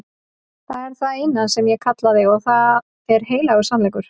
Það er það eina sem ég kallaði og það er heilagur sannleikur.